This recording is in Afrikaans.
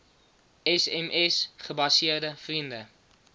sms gebaseerde vriende